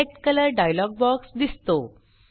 select colour dialog box दिसतो